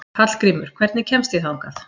Hallgrímur, hvernig kemst ég þangað?